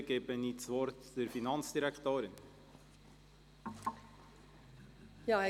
Ich erteile das Wort der Finanzdirektorin.